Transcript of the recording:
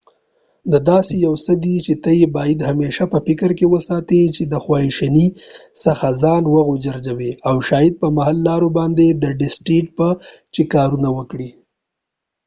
دا داسې یو څه دي چې ته یې باید همیشه په فکر کې وساتي چې د خواشينۍ څخه ځان وژغوری او شاید په محل لارو باندي ډسټیت چې کارونه وکړي